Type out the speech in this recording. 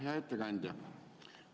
Hea ettekandja!